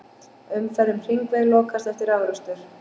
Umferð um hringveg lokaðist eftir árekstur